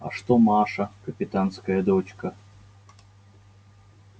а что маша капитанская дочка